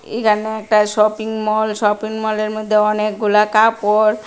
এইখানে একটা shopping mall shopping মলের মধ্যে অনেকগুলা কাপড়।